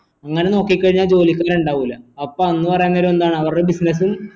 അങ്ങനെ നോക്കിക്കഴിഞ്ഞാൽ ജോലിക്ക് ഇണ്ടാവൂല അപ്പൊ അന്ന് പറയുന്നേരം എന്താ അവരുടെ business